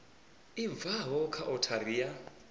i bvaho kha othari ya